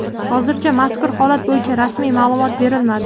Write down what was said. Hozircha mazkur holat bo‘yicha rasmiy ma’lumot berilmadi.